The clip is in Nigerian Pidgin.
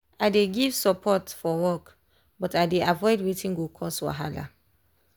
i dey give support forwork but i dey avoid wetin go cause wahala.